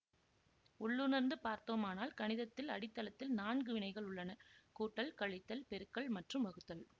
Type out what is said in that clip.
உள்ளுணர்ந்து பார்த்தோமானால் கணிதத்தில் அடித்தளத்தில் நான்கு வினைகள் உள்ளன கூட்டல் கழித்தல் பெருக்கல் மற்றும் வகுத்தல்